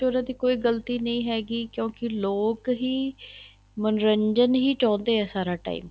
ਉਹਨਾ ਦੀ ਕੋਈ ਗ਼ਲਤੀ ਨਹੀਂ ਹੈਗੀ ਕਿਉਂਕਿ ਲੋਕ ਹੀ ਮੰਨੋਰੰਜਨ ਹੀ ਚਾਹੁੰਦੇ ਹੈ ਸਾਰਾ time